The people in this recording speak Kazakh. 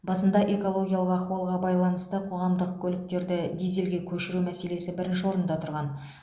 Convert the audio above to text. басында экологиялық ахуалға байланысты қоғамдық көліктерді дизельге көшіру мәселесі бірінші орында тұрған